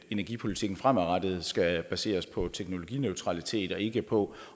energipolitikken fremadrettet skal baseres på teknologineutralitet og ikke på